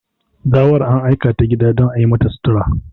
Gawar an aikata gida don a yimata sutura.